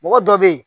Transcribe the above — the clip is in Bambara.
Mɔgɔ dɔ bɛ ye